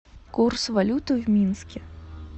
курс валюты в минске